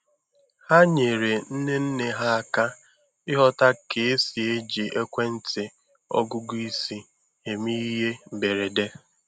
Ha nyeere nne nne ha aka ịghọta ka esi eji ekwentị ọgụgụ isi eme ihe mberede.